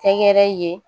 Kɛkɛrɛ ye